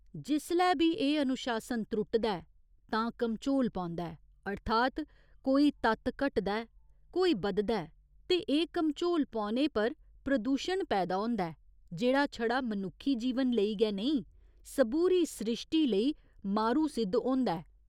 जिसलै बी एह् अनुशासन त्रुटदा ऐ तां घमचोल पौंदा ऐ अर्थात् कोई तत्त घटदा ऐ, कोई बधदा ऐ ते एह् घमचोल पौने पर प्रदूशण पैदा होंदा ऐ जेह्ड़ा छड़ा मनुक्खी जीवन लेई गै नेईं, सबूरी स्रिश्टी लेई मारू सिद्ध होंदा ऐ।